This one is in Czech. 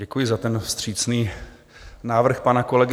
Děkuji za ten vstřícný návrh pana kolegy.